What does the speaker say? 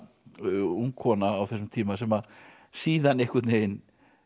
ung kona á þessum tíma sem að síðan einhvern veginn